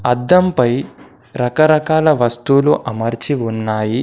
అద్దంపై రకరకాల వస్తువులు అమర్చి ఉన్నాయి.